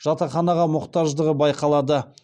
жатақханаға мұқтаждығы байқалады